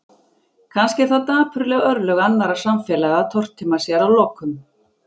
Kannski eru það dapurleg örlög annarra samfélaga að tortíma sér að lokum.